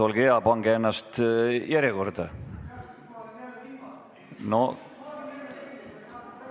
Olge hea, pange ennast järjekorda!